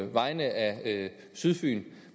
vegne af sydfyn